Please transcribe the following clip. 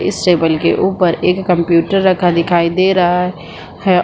इस टेबल के ऊपर एक कंप्यूटर रखा दिखाई दे रहा है ।